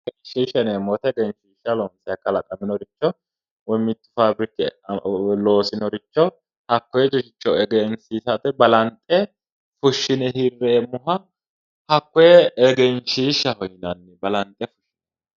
Egenshiisha yineemmohu mitturichi kalaqaminoricho woyi loosinoricho hakkoyericho egensiisate balanxe fushshine hirreemmoha hakkoye egenshiishshaho yinanni yaate